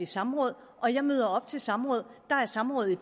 samråd og jeg møder op til samråd der er samråd i